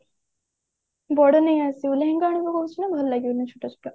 ବଡ ନେଇଆସେ ଲେହେଙ୍ଗା ଆଣିବୁ କହୁଛୁ ନା ଭଲ ଲାଗିବନି ଛୋଟ ଛୋଟ